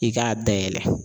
I k'a dayɛlɛ.